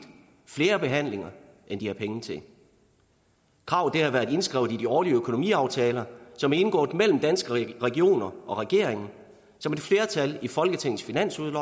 flere behandlinger end de har penge til kravet har været indskrevet i de årlige økonomiaftaler som er indgået mellem danske regioner og regeringen og som et flertal i folketingets finansudvalg